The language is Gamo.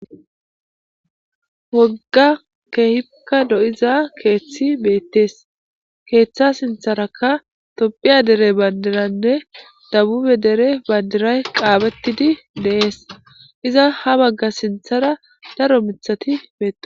Wogga kehhika lo'iza keththey bettes keththa sinththaraka tophphiya deere banddiraynne debbube deere bandiray qaphettidi de'ess iiza ha bagga sinththara daaro miththati betto..